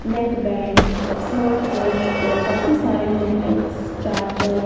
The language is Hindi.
नेकबैंड स्मार्टवॉच और काफी सारे मोबाइल्स चार्जर --